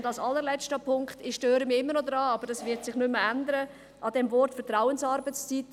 Und als allerletzter Punkt: Ich störe mich immer noch am Wort «Vertrauensarbeitszeit», und das wird sich auch nicht mehr ändern.